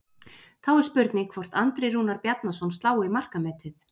Þá er spurning hvort Andri Rúnar Bjarnason slái markametið?